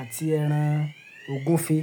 àti ẹran ògúnfe.